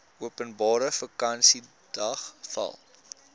openbare vakansiedag val